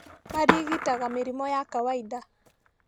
Marigitaga mĩrimũ ya kawainda